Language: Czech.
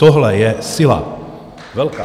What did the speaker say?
Tohle je síla, velká!